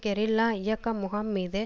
guerrilla இயக்க முகாம் மீது